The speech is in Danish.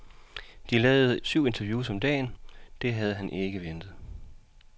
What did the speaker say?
De lavede syv interviews om dagen, det havde han ikke ventet.